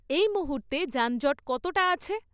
এই মুহূর্তে যানজট কতটা আছে?